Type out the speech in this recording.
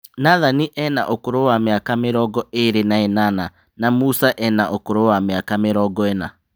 Nathani ena ũkũrũ wa mĩaka mĩrongo ĩrĩ na ĩnana na Musa ena ũkũrũ wa mĩaka mĩrongo ĩna.